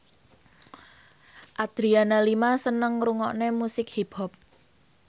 Adriana Lima seneng ngrungokne musik hip hop